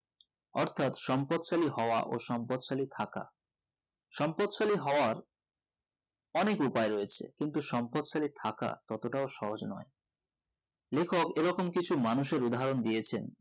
অর্থাৎ সম্পদশালী হওয়ায় ও সম্পদশালী থাকা সম্পদশালী হওয়ার অনেক উপায় রয়েছে কিন্তু সম্পদশালী থাকা ততটাও সহজ নয় লেখক এই রকম কিছু মানুষের উদাহরণ দিয়েছেন